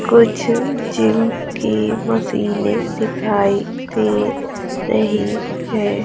कुछ जिम की मशीनें दिखाई दे रही है।